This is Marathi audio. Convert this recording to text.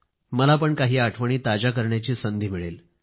मला पण काही आठवणी ताज्या करण्याची संधी मिळेल